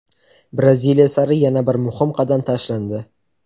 Braziliya sari yana bir muhim qadam tashlandi!.